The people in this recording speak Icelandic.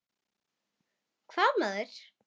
Hvaða maður?